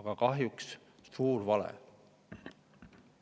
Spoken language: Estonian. aga kahjuks suur vale.